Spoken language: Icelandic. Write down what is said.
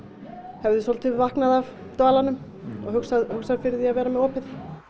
hefði svolítið vaknað af dvalanum og hugsað fyrir því að vera með opið